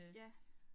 Ja